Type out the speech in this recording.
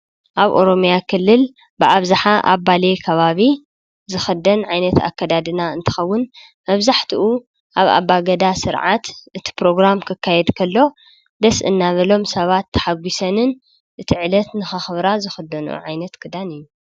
ኣብ ኦሮምያ ክልል ብኣብዝሓ ኣብ ባሌ ከባቢ ዝክደን ዓይነት ኣከዳድና እንትከውን መብዛሕትኡ ኣብ ኣባ ጋዳ ስርዓት እቲ ፕሮግራም ክካየድ ከሎ ደስ እናበሎም ሰባት ታሓጊሰንን ዕለት ንከክብራ ዝክደኖኦ ዓይነት ክዳን እዩ።